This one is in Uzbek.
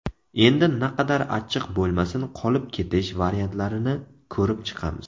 Endi naqadar achchiq bo‘lmasin, qolib ketish variantlarini ko‘rib chiqamiz.